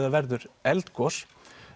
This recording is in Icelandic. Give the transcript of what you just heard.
það verður eldgos